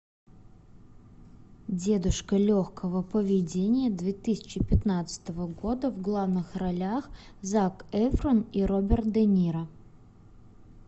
дедушка легкого поведения две тысячи пятнадцатого года в главных ролях зак эфрон и роберт де ниро